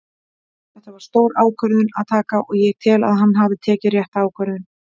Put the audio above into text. Þetta var stór ákvörðun að taka og ég tel að hann hafi tekið rétta ákvörðun.